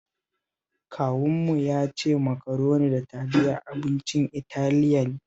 Kawunmu ya ce Makaroni da Taliya abincin Italiya ne